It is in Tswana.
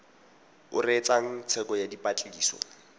o reetsang tsheko ya dipatlisiso